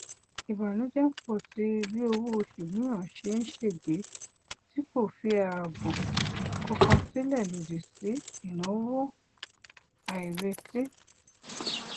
ìbànújẹ ń pọ síi bí owó oṣù mìíràn ṣe ṣègbé tí kò fi ààbò kankan sílẹ lòdì sí ináwó àìrètí